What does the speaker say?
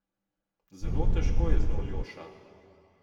Zelo težko je z njo, Ljoša.